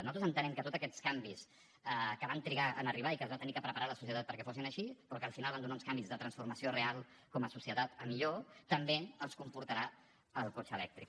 nosaltres entenem que tots aquests canvis que van trigar a arribar i que es va haver de preparar la societat perquè fossin així però que al final van donar uns canvis de transformació real com a societat a millor també els comportarà el cotxe elèctric